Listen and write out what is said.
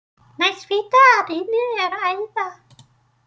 Næst hvítu að innan er æða.